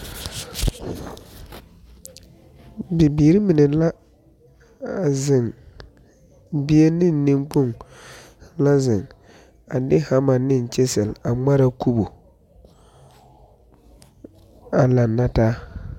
Bibiiri mine la a zeŋ, bie ne nenkpoŋ la a de hammer ne kyisil a ŋmaraa kubu a laŋe na taa.